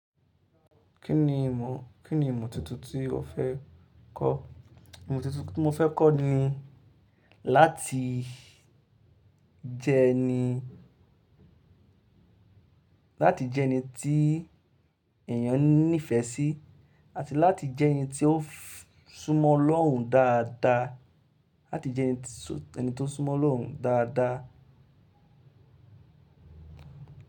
Kí ni ìmọ̀, kí ni ìmọ̀ tuntun tí o fẹ́ kọ́? Ìmọ̀ tuntun tí mo fẹ́ kọ́ ni láti jẹ ẹni, láti jẹ ẹni tí ẹ̀eyàn ní ìfẹ́ sí àti láti jẹ ẹni tí ó súmọ́ Olorùn dáadáa, láti jẹ ẹni tó súmọ́ Olorùn dáadáa.